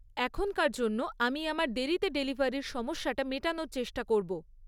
এখনকার জন্য আমি আমার দেরিতে ডেলিভারির সমস্যাটা মেটানোর চেষ্টা করব।